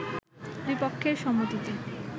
দুই পক্ষের সম্মতিতে